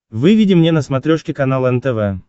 выведи мне на смотрешке канал нтв